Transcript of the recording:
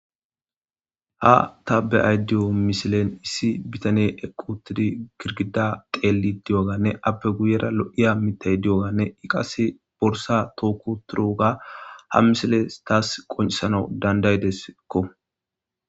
Ha ta be'ay diyo misilen issi bitany equtidi girgida qeelli di'oganne abbe guyera lo'iya mitay di'oganne iqas borsa tookoturoga ha misiles taas qoncisanau dandaydeseekko.